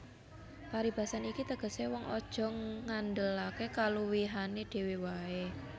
Paribasan iki tegesé wong aja ngandhelaké kaluwihané dhéwé waé